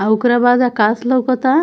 आ ओकरा बाद आकाश लोउकता।